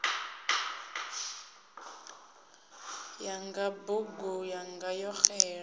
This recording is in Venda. yanga bugu yanga yo xela